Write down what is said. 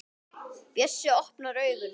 Bjössi opnar augun.